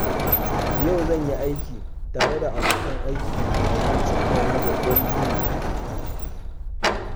Yau zan yi aiki tare da abokan aikina domin cimma wani babban buri.